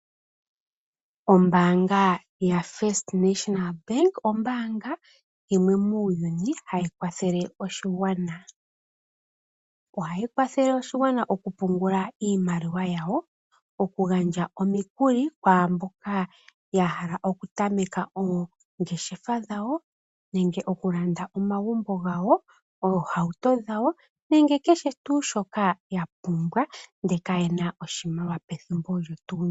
Ombaanga yaFirst National Bank ombaanga yimwe muuyuni hayi kwathele oshigwana. Ohayi kwathele oshigwana okupungula iimaliwa yawo, okugandja omikuli kwaa mboka ya hala okutameka oongeshefa dhawo, okulanda omagumbo gawo, oohauto dhawo nakehe tuu shoka ya pumbwa ndele kaye na iimaliwa pethimbo olyo tuu ndyoka.